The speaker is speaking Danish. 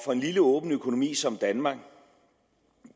for en lille åben økonomi som danmark